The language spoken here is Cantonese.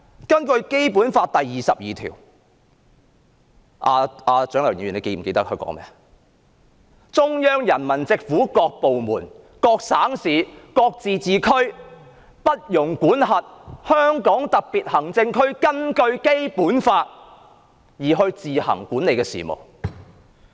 根據《基本法》第二十二條——蔣麗芸議員是否記得該條文訂明甚麼？——"中央人民政府所屬各部門、各省、自治區、直轄市均不得干預香港特別行政區根據本法自行管理的事務"。